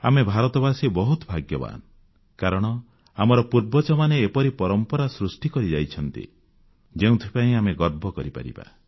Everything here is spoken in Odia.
ଆମେ ଭାରତବାସୀ ବହୁତ ଭାଗ୍ୟବାନ କାରଣ ଆମର ପୂର୍ବଜମାନେ ଏପରି ପରମ୍ପରା ସୃଷ୍ଟି କରିଯାଇଛନ୍ତି ଯେଉଁଥିପାଇଁ ଆମେ ଗର୍ବ କରିପାରିବା